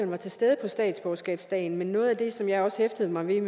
var til stede på statsborgerskabsdagen men noget af det som jeg også hæftede mig ved